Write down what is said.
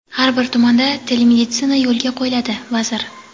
Har bir tumanda telemeditsina yo‘lga qo‘yiladi – vazir.